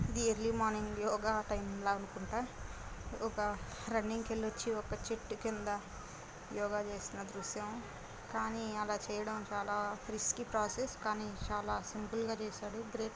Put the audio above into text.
ఇది early morning yoga time లో అనుకుంట ఒక రన్నింగ్ కళ్లి వచ్చి ఒక చెట్టు కింద యోగ చేసిన దుఃర్షం కానీ అల చైయడం రిస్కీ ప్రోస్సెస్ చాలా సింపుల్ గ చేసాడు.